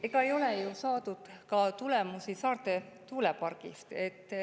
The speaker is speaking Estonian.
Ega ei ole ju saadud tulemusi ka Saarde tuulepargist.